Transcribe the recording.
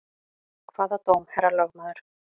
Hvaða dóm, herra lögmaður?